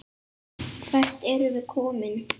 Hvert erum við komin?